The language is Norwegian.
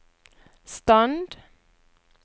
stand